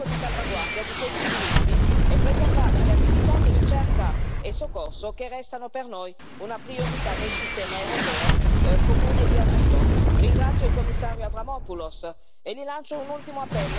Il sostegno a questa riforma è proprio dovuto al fatto che siamo riusciti a mantenere il quadro di salvaguardia di questi diritti e preservare le attività di ricerca e di soccorso che restano per noi una priorità del sistema europeo comune di asilo.